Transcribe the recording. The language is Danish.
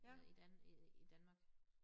Øh i dan øh i Danmark